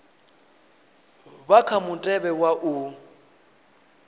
vha kha mutevhe wa u